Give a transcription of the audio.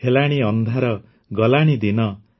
ହେଲାଣି ଅନ୍ଧାର ଗଲାଣି ଦିନ